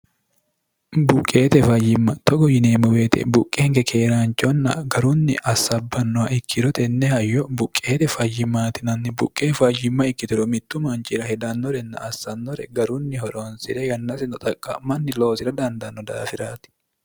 buqqeete fayyimma togo yineemmo woyiite buqeenke keeraanchonna garunni assabbannoha ikkiro tenne hayyo buqqeete fayyimaati yinanni buqqe fayyimma ikkitiro mittu manchira hedannorenna assannore garunni horoonsi're yannasino xaqqa'manni loosira dandanno daafiraati